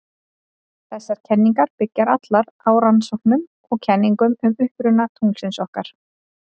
Þessar kenningar byggja allar á rannsóknum og kenningum um uppruna tunglsins okkar.